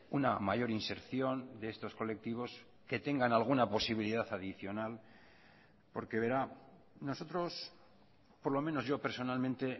una mayor inserción de estos colectivos que tengan alguna posibilidad adicional porque verá nosotros por lo menos yo personalmente